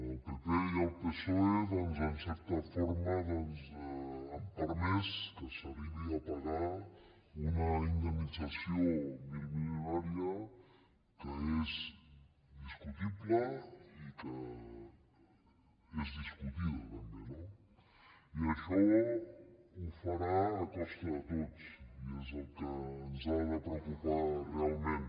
el pp i el psoe doncs en certa forma han permès que s’arribi a pagar una indemnització milmilionària que és discutible i que és discutida també no i això ho farà a costa de tots i és el que ens ha de preocupar realment